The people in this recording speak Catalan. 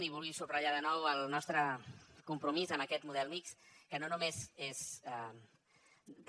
i vull subratllar de nou el nostre compromís amb aquest model mixt que no només és de